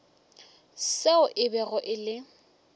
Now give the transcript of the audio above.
seo e bego e le